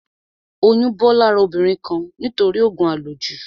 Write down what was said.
Oyún bọ́ lára obìnrin kan nítorí òògùn à lò jù